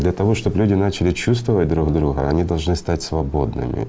для того чтоб люди начали чувствовать друг друга они должны стать свободным